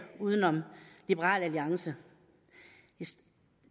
uden om liberal alliance